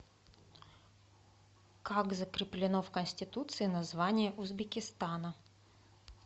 как закреплено в конституции название узбекистана